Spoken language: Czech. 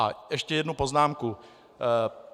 A ještě jednu poznámku.